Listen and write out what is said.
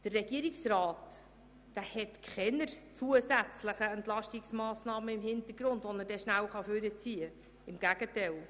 Der Regierungsrat hat keine zusätzlichen Entlastungsmassnahmen in der Hinterhand, die er rasch hervorziehen kann, im Gegenteil.